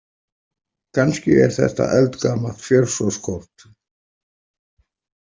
Kannski er þetta eldgamalt fjársjóðskort.